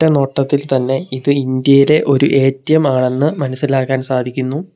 റ്റ നോട്ടത്തിൽ തന്നെ ഇത് ഇന്ത്യയിലെ ഒരു എ_ടി_എം ആണെന്ന് മനസ്സിലാക്കാൻ സാധിക്കുന്നു.